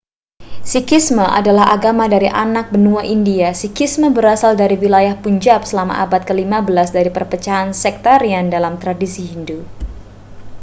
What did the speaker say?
sikhisme adalah agama dari anak benua india sikhisme berasal dari wilayah punjab selama abad ke-15 dari perpecahan sektarian dalam tradisi hindu